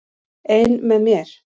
Ein með mér.